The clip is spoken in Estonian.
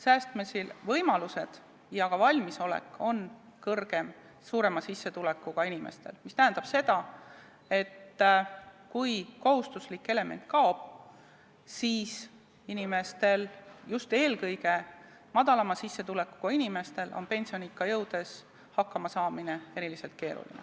Säästmise võimalused ja ka valmisolek säästa on kõrgem suurema sissetulekuga inimestel, mis tähendab seda, et kui kohustuslik element kaob, siis inimestel, just eelkõige madalama sissetulekuga inimestel, on pensioniikka jõudes hakkama saada eriti keeruline.